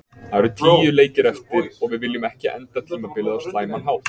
Það eru tíu leikir eftir og við viljum ekki enda tímabilið á slæman hátt.